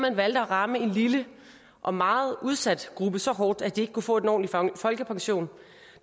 man valgte at ramme en lille og meget udsat gruppe så hårdt at de ikke kunne få en ordentlig folkepension